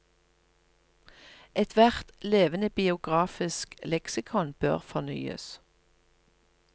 Ethvert levende biografisk leksikon bør fornyes.